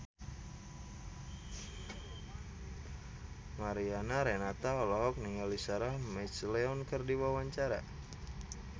Mariana Renata olohok ningali Sarah McLeod keur diwawancara